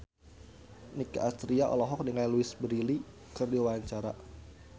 Nicky Astria olohok ningali Louise Brealey keur diwawancara